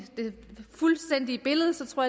fuldstændige billede tror